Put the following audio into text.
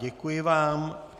Děkuji vám.